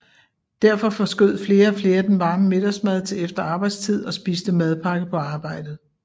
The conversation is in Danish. Derfor forskød flere og flere den varme middagsmad til efter arbejdstid og spiste madpakke på arbejdet